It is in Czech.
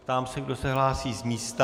Ptám se, kdo se hlásí z místa.